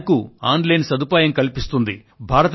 ప్రతి bank online సదుపాయం కల్పిస్తుంది